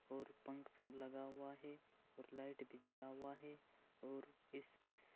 और पंख सब लगा हुआ है और लाईट भी जला हुआ है और इस इस--